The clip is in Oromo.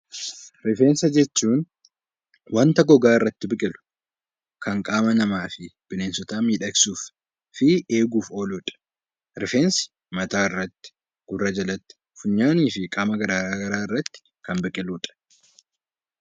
Rifeensa jechuun wanta gogaa irratti biqilu kan qaama namaa fi bineensotaa miidhagsuuf fi eeguuf oolu dha. Rifeensi mataa irratti, gurra jalatti, funyaanii fi qaama gara garaa irratti kan biqilu dha.